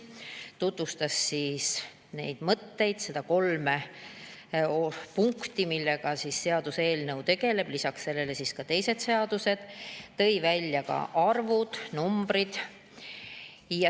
Ta tutvustas neid mõtteid, neid kolme punkti, millega seaduseelnõu tegeleb, lisaks sellele ka teisi seadusi ning tõi välja ka numbrid.